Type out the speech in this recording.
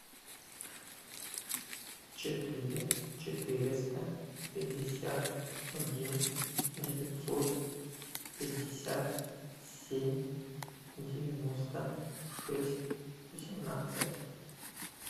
четыре четыреста пятьдесят один девятьсот пятьдесят семь девяносто шесть восемнадцать